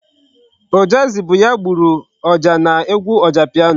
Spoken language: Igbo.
Ojazzy bụ ya gburu ọjà n'egwu Ojapiano.